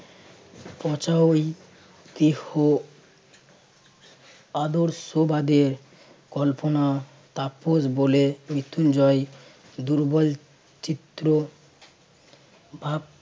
পচা ঐ দেহ আদর্শবাদের কল্পনা তাপস বলে মৃত্যুঞ্জয় দুর্বল চিত্র ভাব~